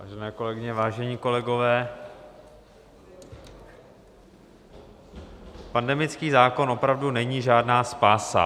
Vážené kolegyně, vážení kolegové, pandemický zákon opravdu není žádná spása.